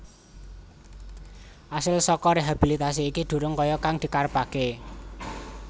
Asil saka rehabilitasi iki durung kaya kang dikarepake